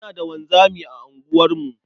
Muna da wanzami a unguwarmu.